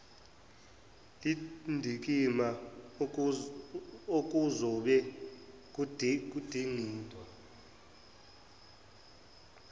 lendikimba okuzobe kudingidwa